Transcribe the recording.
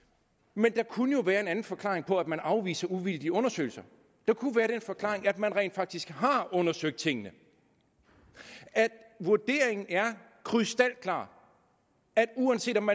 men der kunne jo være en anden forklaring på at man afviser uvildige undersøgelser der kunne være den forklaring at man rent faktisk har undersøgt tingene at vurderingen er krystalklar at uanset om